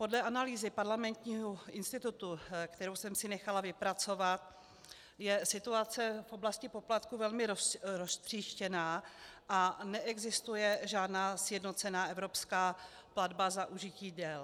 Podle analýzy Parlamentního institutu, kterou jsem si nechala vypracovat, je situace v oblasti poplatků velmi roztříštěná a neexistuje žádná sjednocená evropská platba za užití děl.